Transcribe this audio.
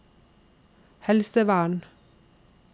helsevern